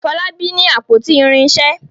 Folabi ní àpótí irinṣẹ.